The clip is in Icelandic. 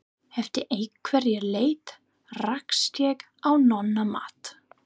Eftir einhverja leit rakst ég á Nonna Matt.